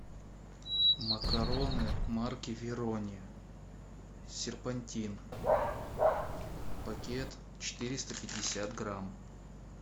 макароны марки верони серпантин пакет четыреста пятьдесят грамм